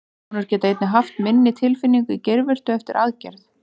Konur geta einnig haft minni tilfinningu í geirvörtu eftir aðgerð.